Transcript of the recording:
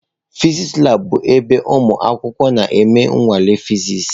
Fịsịsị labụ bụ ebe ụmụ akwụkwọ na-eme nnwale Fịsịsị.